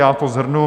Já to shrnu.